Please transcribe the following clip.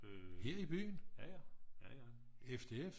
her i byen? FDF